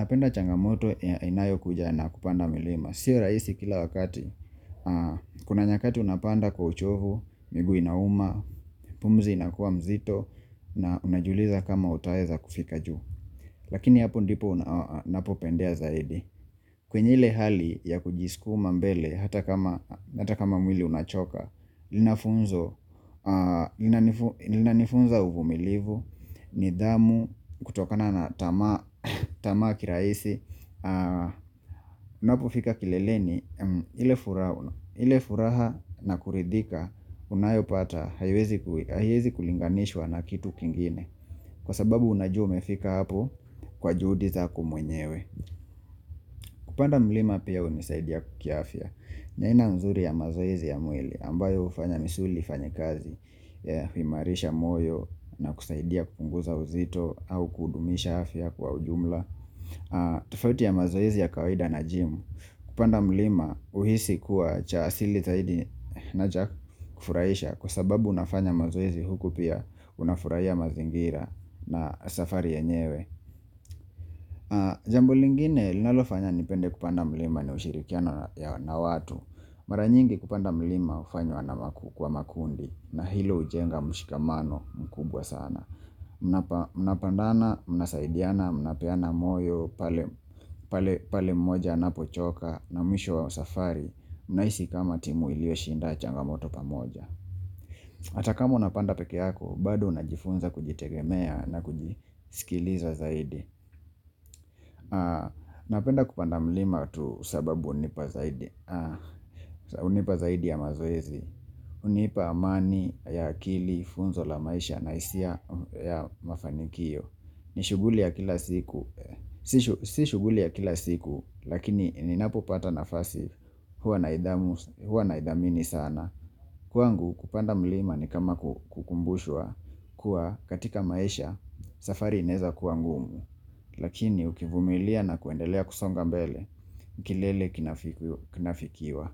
napenda changamoto inayokuja na kupanda milima Sio rahisi kila wakati Kuna nyakati unapanda kwa uchovu miguu inauma pumzi inakuwa mzito na unajiuliza kama utaweza kufika juu Lakini hapo ndipo napopendea zaidi kwenye ile hali ya kujiskuma mbele hata kama mwili unachoka lina funzo linanifunza uvumilivu nidhamu kutokana na tamaa ya kirahisi Unapofika kileleni ile furaha na kuridhika unayopata haiwezi kulinganishwa na kitu kingine Kwa sababu unajua umefika hapo kwa juhudi zako mwenyewe Kupanda mlima pia hunisaidia kiafya ni aina nzuri ya mazoezi ya mwili ambayo hufanya misuli ifanye kazi ya kuimarisha moyo na kusaidia kupunguza uzito au kudumisha afya kwa ujumla tofauti ya mazoezi ya kawaida na gym Kupanda mlima huhisi kuwa cha asili zaidi na cha kufurahisha kwa sababu unafanya mazoezi huku pia unafurahia mazingira na safari yenyewe Jambo lingine linalofanya nipende kupanda mlima ni ushirikiano na watu mara nyingi kupanda mlima hufanywa kwa makundi na hilo hujenga mshikamano mkubwa sana Mnapanda na mnasaidiana mnapeana moyo pale mmoja anapochoka na mwisho wa safari mnahisi kama timu iliyo shinda changamoto pamoja hata kama unapanda peke yako bado unajifunza kujitegemea na kujisikiliza zaidi Napenda kupanda mlima tu sababu hunipa zaidi hunipa zaidi ya mazoezi hunipa amani ya akili, funzo la maisha na hisia ya mafanikio ni shuguli ya kila siku si shughuli ya kila siku lakini ninapopata nafasi huwa Huwa naidhamini sana Kwangu kupanda mlima ni kama kukumbushwa kuwa katika maisha safari inaweza kuwa ngumu lakini ukivumilia na kuendelea kusonga mbele kilele kinafikiwa.